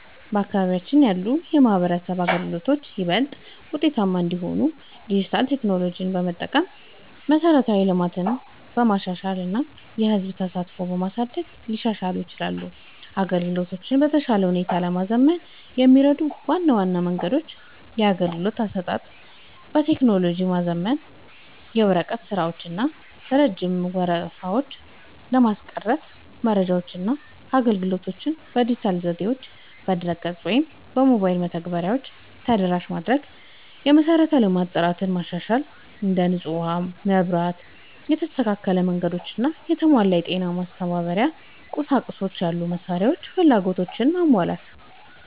በአካባቢያችን ያሉ የማህበረሰብ አገልግሎቶች ይበልጥ ውጤታማ እንዲሆኑ ዲጂታል ቴክኖሎጂዎችን በመጠቀም፣ መሠረተ ልማትን በማሻሻል እና የህዝብ ተሳትፎን በማሳደግ ሊሻሻሉ ይችላሉ። አገልግሎቶቹን በተሻለ ሁኔታ ለማዘመን የሚረዱ ዋና ዋና መንገዶች - የአገልግሎት አሰጣጥን በቴክኖሎጂ ማዘመን፦ የወረቀት ስራዎችን እና ረጅም ወረፋዎችን ለማስቀረት መረጃዎችንና አገልግሎቶችን በዲጂታል ዘዴዎች (በድረ-ገጽ ወይም በሞባይል መተግበሪያዎች) ተደራሽ ማድረግ። የመሠረተ ልማት ጥራትን ማሻሻል፦ እንደ ንጹህ ውሃ፣ መብራት፣ የተስተካከሉ መንገዶች እና የተሟላ የጤና/የማስተማሪያ ቁሳቁስ ያሉ መሠረታዊ ፍላጎቶችን ማሟላት።